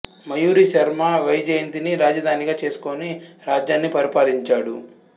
మయూరి శర్మ వైజయంతి ని రాజధానిగా చేసుకొని రాజ్యాన్ని పరిపాలించాడు